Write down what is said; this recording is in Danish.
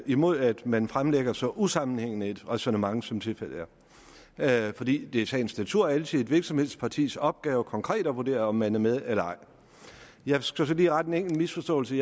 imod at man fremlægger så usammenhængende et ræsonnement som tilfældet er fordi det i sagens natur altid er et hvilken som helst partis opgave konkret at vurdere om man er med eller ej jeg skal så lige rette en enkelt misforståelse